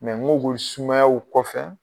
ŋo gol sumayaw kɔfɛ